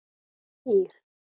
Ír